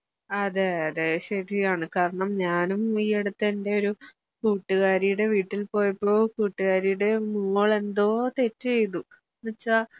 അതെ അതെ ശരിയാണ് കാരണം ഞാനും ഈ അടുത്ത് എൻ്റെ ഒരു കൂട്ടുകാരിയുടെ വീട്ടിൽ പോയപ്പോ കൂട്ടുകാരിയുടെ മോൾ എന്തോ തെറ്റ് ചെയ്തു എന്നുവെച്ചാ